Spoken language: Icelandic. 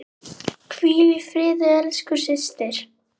Hvíl í friði elsku systir.